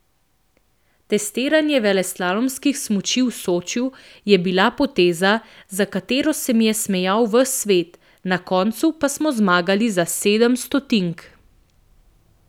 Testiranje veleslalomskih smuči v Sočiju je bila poteza, za katero se mi je smejal ves svet, na koncu pa smo zmagali za sedem stotink.